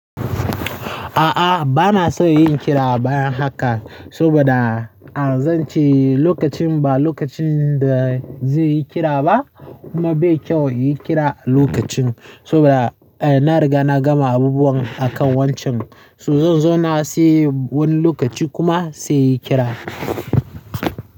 A'a, ba na son yin kira baya haka, saboda ah zance lokacin ba lokacin da zai yi kira ba, kuma bai kyau yin kira a lokacin. Saboda eh na riga na gama abubuwan akan wancan, so zo zona sai wani lokaci kuma sai inyi kira.